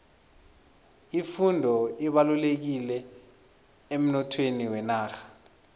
ifundo ibalulekile emnothweni wenarha